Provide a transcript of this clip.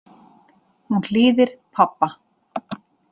Hún hlýðir pabba.